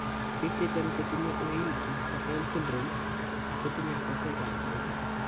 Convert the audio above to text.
Biik chechang' chetinye Weill Marchesaini syndrome kotinye kabwatet ab kawaita